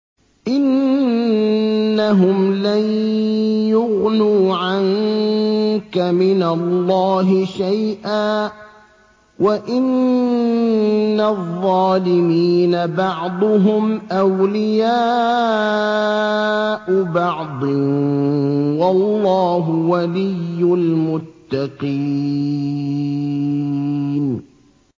إِنَّهُمْ لَن يُغْنُوا عَنكَ مِنَ اللَّهِ شَيْئًا ۚ وَإِنَّ الظَّالِمِينَ بَعْضُهُمْ أَوْلِيَاءُ بَعْضٍ ۖ وَاللَّهُ وَلِيُّ الْمُتَّقِينَ